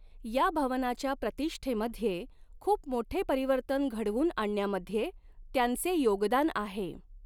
या भवनाच्या प्रतिष्ठेमध्ये खूप मोठे परिवर्तन घडवून आणण्यामध्ये त्यांचे योगदान आहे.